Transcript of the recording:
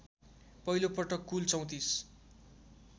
पहिलोपटक कुल ३४